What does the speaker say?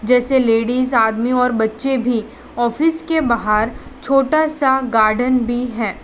जैसे लेडिस आदमी और बच्चे भी ऑफिस के बाहर छोटा सा गार्डन भी है।